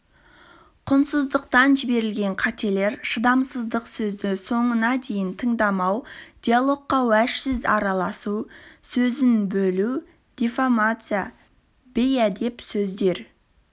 құнтсыздықтан жіберілген қателер шыдамсыздық сөзді соңына дейін тыңдамау диалогқа уәжсіз араласу сөзін бөлу диффамация бейәдеп сөздер